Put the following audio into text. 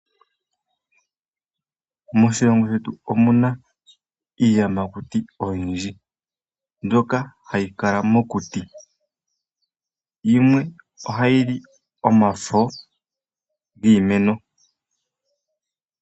Moshilongo shetu omuna iiyamakuti oyindji mbyoka hayi kala mokuti, yimwe ohayili omafo giimeno.